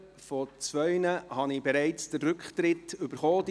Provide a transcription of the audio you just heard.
Von zwei habe ich bereits den Rücktritt eingereicht erhalten;